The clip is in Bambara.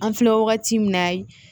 An filɛ wagati min na